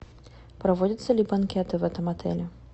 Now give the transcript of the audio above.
проводятся ли банкеты в этом отеле